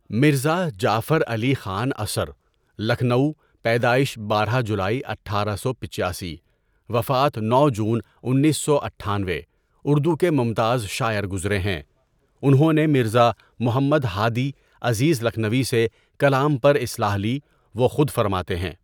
مرزا جعفر علی خان اثر لکھنو یپیدائش بارہ جولائی اٹھارہ سو پچاسی وفات نو جون انیس سو اٹھانوے اردو کے ممتاز شاعر گزرے ہیں انہوں نے مرزا محمد ہادی عزیز لکھنوی سے کلام پر اصلاح لی وہ خود فرماتے ہیں.